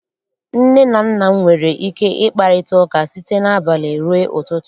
Nne na nna m nwere ike ịkparịta ụka site n'abalị rue ụtụtụ.